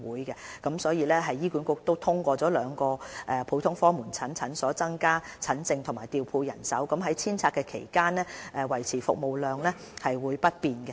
醫管局已通過在兩個普通科門診診所增加診症室和調配人手，於遷拆期間維持服務量不變。